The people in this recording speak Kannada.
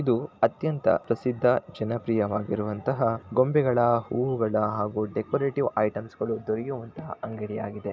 ಇದು ಅತ್ಯಂತ ಪ್ರಸಿದ್ದ ಜನಪ್ರಿಯವಾಗಿರುವಂತಹ ಗೊಂಬೆಗಳ ಹೂವುಗಳ ಹಾಗೂ ಡೆಕೋರೇಟೀವ್ ಐಟಂಮ್ಸ್‌ಗಳು ದೊರೆಯುವಂತಹ ಆಂಗಡಿ ಆಗಿದೆ.